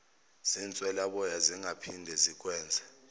zinswelaboya zingaphinde zikwenze